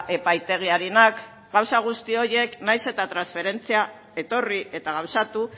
epaitegiarenak gauza guzti horiek nahiz eta transferentzia etorri eta gauzatu